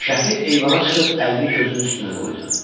Şəfi eyvana çıxıb əlini gözünün üstünə qoydu.